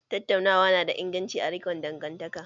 Tattaunawa na da inganci a rikon dangantaka